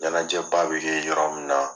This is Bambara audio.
Ɲanajɛ ba bɛ kɛ yɔrɔ min na.